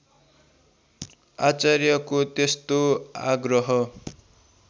आचार्यको त्यस्तो आग्रह